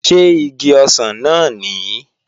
Ṣé igi ọsàn náà nìí?